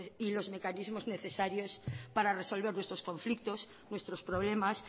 y los mecanismos necesarios para resolver nuestros conflictos nuestros problemas